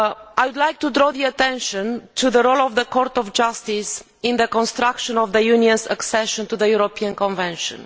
I would like to draw attention to the role of the Court of Justice in the construction of the European Union's accession to the European Convention.